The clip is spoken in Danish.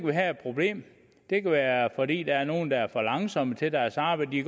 vi have et problem det kan være fordi der er nogle der er for langsomme til deres arbejde de